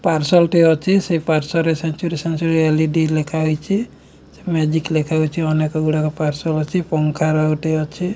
Parcel ଟେ ଅଛି ସେ ପାର୍ଶ୍ଵରେ ସେଞ୍ଚୁରୀ ସେଞ୍ଚୁରୀ ଏଲ୍_ଇ_ଡି ଲେଖାହେଇଚି । ମେଜିକ୍ ଲେଖାହୋଇଚି ଅନେକ ଗୁଡ଼ାକ ପାର୍ସଲ୍ ଅଛି ପଙ୍ଖାର ଗୋଟେ ଅଛି।